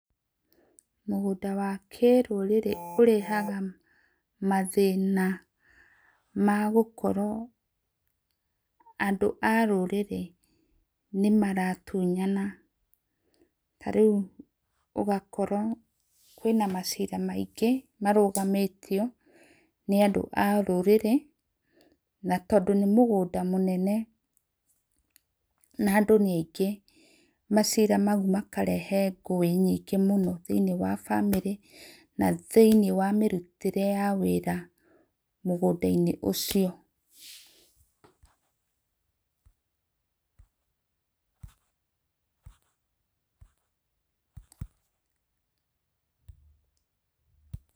Mũgũnda wa kĩrũrĩrĩ ũrehaga mathĩna ma gũkorwo, andũ a rũrĩrĩ nĩmaratũnyana ta rĩũ ũngakora kwĩna macira maingĩ marũgamĩtĩo na andũ a rũrĩrĩ, na tondũ nĩ mũgũnda nĩ mũnene, na andũ nĩ aingĩ macira maũ makarehe ngũĩ nyĩngĩ mũno thĩ-inĩ wa bamĩrĩ thĩ-inĩwa mĩrũtĩre ya wĩra mũgũnda inĩ ũcio.